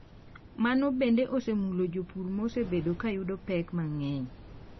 Mano bende osemulo jopur ma osebedo ka yudo pek mang’eny.